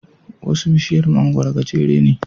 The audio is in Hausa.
Wasu bishiyar mangwaro gajere ne.